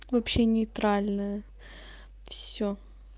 вообще нейтральная все